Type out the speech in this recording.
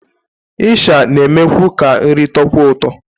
Ịsha na-emekwu ka nri tọọkwuo ụtọ